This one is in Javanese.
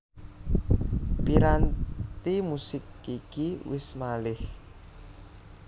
Piranti musik iki wis malih